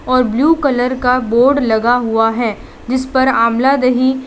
और blue colour का board लगा हुआ हैं जिस पर आमला दहि --